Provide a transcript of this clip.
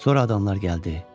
Sonra adamlar gəldi.